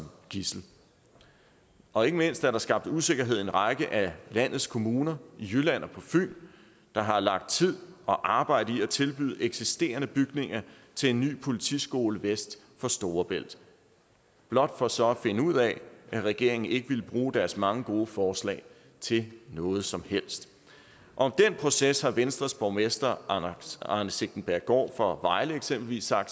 gidsel og ikke mindst er der skabt usikkerhed i en række af landets kommuner i jylland og på fyn der har lagt tid og arbejde i at tilbyde eksisterende bygninger til en ny politiskole vest for storebælt blot for så at finde ud af at regeringen ikke vil bruge deres mange gode forslag til noget som helst om den proces har venstres borgmester arne sigtenbjerggaard fra vejle eksempelvis sagt